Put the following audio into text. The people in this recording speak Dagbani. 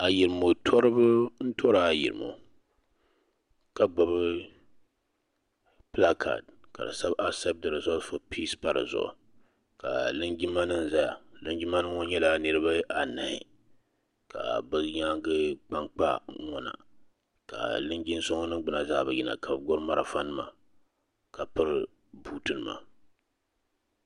Ayirimo tɔriba n tɔri ayirimo ka gbubi pilaakaad ka di sabi asept di rizɔs fɔ piise pa di zuɣu ka linjima nima zaya ka linjima nima ŋɔ nyɛla niriba anahi ka bi nyaanga kpa n kpa n ŋɔna ka linjin so ŋun ningbuna zaa bi yina ka bi gbubi marafa nima ka piri buuti nima.